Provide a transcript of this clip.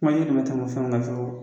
na fɛnw na fiyewu.